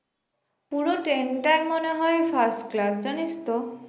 পুরো train টাই মনে হয় first class জানিস তো